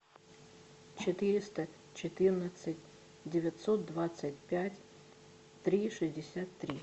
четыреста четырнадцать девятьсот двадцать пять три шестьдесят три